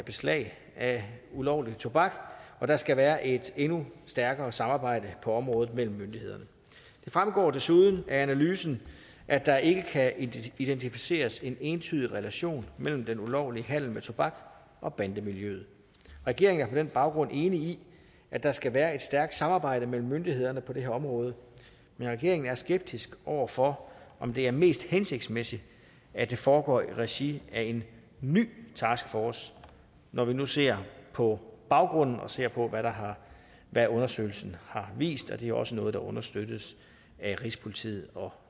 beslag af ulovlig tobak og der skal være et endnu stærkere samarbejde på området mellem myndighederne det fremgår desuden af analysen at der ikke kan identificeres en entydig relation mellem den ulovlige handel med tobak og bandemiljøet regeringen er på den baggrund enig i at der skal være et stærkt samarbejde mellem myndighederne på det her område men regeringen er skeptisk over for om det er mest hensigtsmæssigt at det foregår i regi af en ny taskforce når vi nu ser på baggrunden og ser på hvad undersøgelse har vist det er også noget der understøttes af rigspolitiet og